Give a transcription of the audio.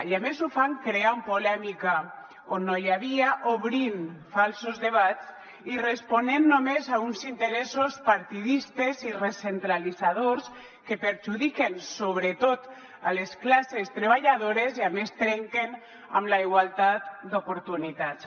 i a més ho fan creant polèmica on no n’hi havia obrint falsos debats i responent només a uns interessos partidistes i recentralitzadors que perjudiquen sobretot les classes treballadores i a més trenquen amb la igualtat d’oportunitats